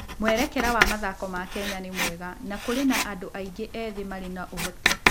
Mwerekera wa mathako ma Kenya nĩ mwega, na kũrĩ na andũ aingĩ ethĩ marĩ na ũhoti.